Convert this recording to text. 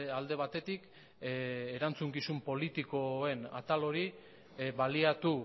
alde batetik erantzukizun politikoen atal hori baliatu